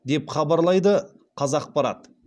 деп хабалайды қазақпарат